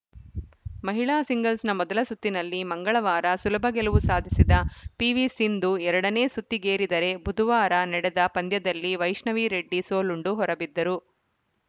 ಮಹಿಳಾ ಸಿಂಗಲ್ಸ್‌ನ ಮೊದಲ ಸುತ್ತಿನಲ್ಲಿ ಮಂಗಳವಾರ ಸುಲಭ ಗೆಲುವು ಸಾಧಿಸಿದ ಪಿವಿಸಿಂಧು ಎರಡ ನೇ ಸುತ್ತಿಗೇರಿದರೆ ಬುಧವಾರ ನಡೆದ ಪಂದ್ಯದಲ್ಲಿ ವೈಷ್ಣವಿ ರೆಡ್ಡಿ ಸೋಲುಂಡು ಹೊರಬಿದ್ದರು